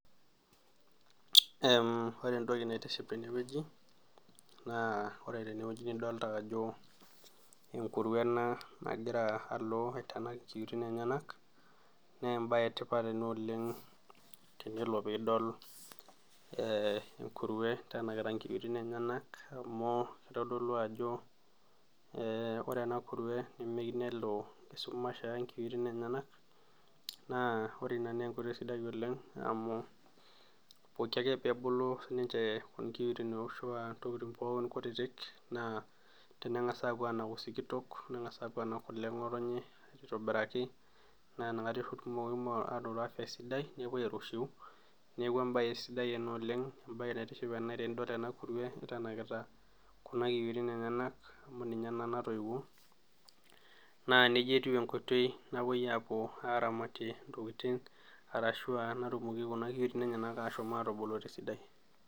Ee ore entoki naitiship tenewueji na ore tenewueji nidolta ajo enkurue ena nagira alo aitanak nkiyoitin enyenak na embae etipat ena oleng tenilo pidol e nkurue eitanakita nkiyoitin enyenak amu kitodolu ajo ore enakurue nemeyieu nelo esumash aya nkiyoitin enyenak na ore ina na enkoitoi sidai oleng amu pookin ake peebulu tonkiitin ashu tontokitin kutiik na tenangasa apuo anaku sikitok nengasa anak kule engotonye aitobiraki na inakata etumoki airurata esidai nepuo aitushul, neaku embae sidai ena oleng, embae naitiship tenedol enakurue itanakita kuna kiyioitin enyenak ntoiwuo na nejia etiu enkoitoi napuoi aramatie ntokitin arashu natumoki kuna kiyioitin ashomoita atubulu esidai